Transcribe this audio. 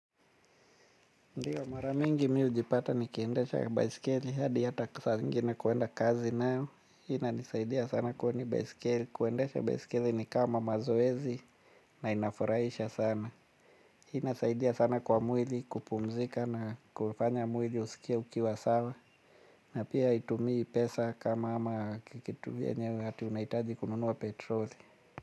Ndiyo mara mingi mimi hujipata ni kiendesha baisikeli hadi hata saa zingine kuenda kazi nayo. Inanisaidia sana kwani baisikeli, kuendesha baisikeli ni kama mazoezi na inafurahisha sana ina saidia sana kwa mwili kupumzika na kufanya mwili usikie ukiwa sawa. Na pia haitumii pesa kama, ama, kitu vyenye ati unahitaji kununuwa petroli.